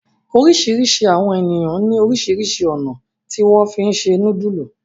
oríṣiríṣi àwọn ènìyàn ní orísirísi ọ̀nà tí wón fí se nudulu.